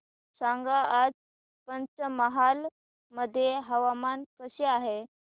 सांगा आज पंचमहाल मध्ये हवामान कसे आहे